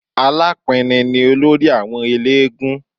Alápinni ni olórí àwọn eléégún